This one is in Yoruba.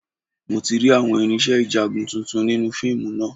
Mo ti rí àwọn irinṣẹ́ ìjagun tuntun nínú fíìmù náà